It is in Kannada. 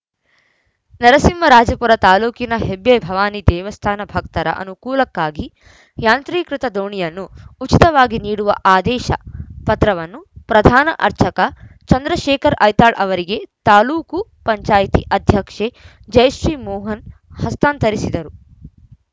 ನರಸಿಂಹರಾಜಪುರ ತಾಲೂಕಿನ ಹೆಬ್ಬೆ ಭವಾನಿ ದೇವಸ್ಥಾನ ಭಕ್ತರ ಅನುಕೂಲಕ್ಕಾಗಿ ಯಾಂತ್ರೀಕೃತ ದೋಣಿಯನ್ನು ಉಚಿತವಾಗಿ ನೀಡುವ ಆದೇಶ ಪತ್ರವನ್ನು ಪ್ರಧಾನ ಅರ್ಚಕ ಚಂದ್ರಶೇಖರ್‌ ಐತಾಳ್‌ ಅವರಿಗೆ ತಾಲೂಕು ಪಂಚಾಯಿತಿ ಅಧ್ಯಕ್ಷೆ ಜಯಶ್ರೀ ಮೋಹನ್‌ ಹಸ್ತಾಂತರಿಸಿದರು